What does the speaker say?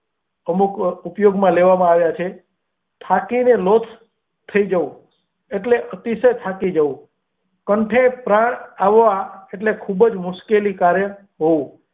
અમુક વાર ઉપયોગ માં લેવા માં આવેલા છે થાકી ને લોથ થાય જવું એટલે અતિશય થાકી જવું કાંઠે પ્રાણ આવ્યા એટલે ખુબ જ મુશ્કેલી કર હોવું.